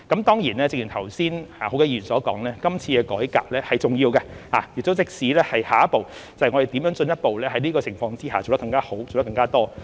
當然，正如剛才多位議員所說，今次的改革是重要的，讓我們知道下一步，在此情況下怎樣進一步做得更加好、更加多。